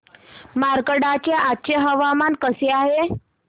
मार्कंडा चे आजचे हवामान कसे आहे